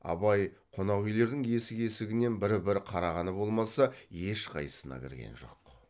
абай қонақүйлердің есік есігінен бір бір қарағаны болмаса ешқайсысына кірген жоқ